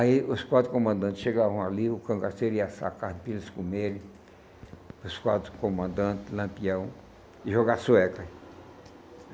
Aí os quatro comandantes chegavam ali, o cangaceiro ia sacar pilhas com ele, os quatro comandantes, Lampião, e jogar sueca.